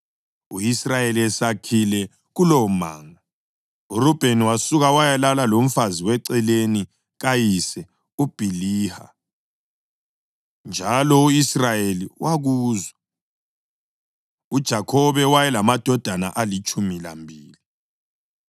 U-Israyeli esakhile kulowomango, uRubheni wasuka wayalala lomfazi weceleni kayise uBhiliha, njalo u-Israyeli wakuzwa. UJakhobe wayelamadodana alitshumi lambili: